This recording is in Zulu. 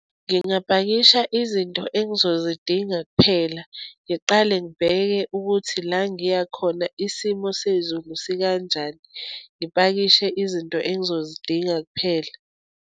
Ngingapakisha izinto engizozidinga kuphela. Ngiqale ngibheke ukuthi la ngiyakhona isimo sezulu sikanjani, ngipakishe izinto engizozidinga kuphela.